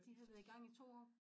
De havde været i gang i 2 år